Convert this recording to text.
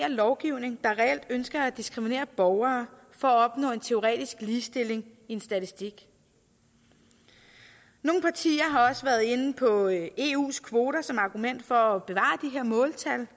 lovgivning der reelt ønske at diskriminere borgere for at opnå en teoretisk ligestilling i en statistik nogle partier har også været inde på eus kvoter som argument for at bevare de her måltal